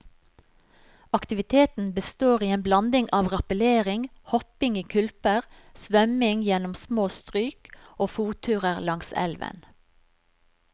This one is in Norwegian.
Aktiviteten består i en blanding av rappellering, hopping i kulper, svømming gjennom små stryk og fotturer langs elven.